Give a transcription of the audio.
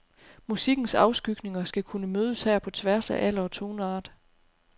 Musikkens afskygninger skal kunne mødes her på tværs af alder og toneart.